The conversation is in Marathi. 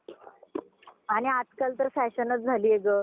आणि आजकालच तर fashion झालीय ग